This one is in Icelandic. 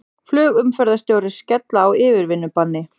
Flugumferðarstjórar skella á yfirvinnubanni